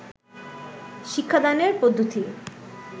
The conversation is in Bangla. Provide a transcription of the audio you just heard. শিক্ষাদানের পদ্ধতি